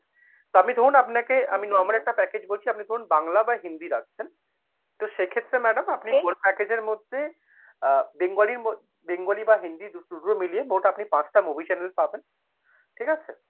আপনি ধরুন আপনাকে আমি normal একটা package বলছি, আপনি ধরুন বাংলা বা হিন্দি রাখছেন তো সেক্ষেত্রে madam আপনি whole package এর মধ্যে আ bengali মো bengali বা হিন্দি দুটো মিলিয়ে মোট আপনি পাঁচটা movie channel পাবেন, ঠিক আছে?